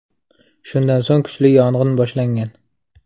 Shundan so‘ng kuchli yong‘in boshlangan.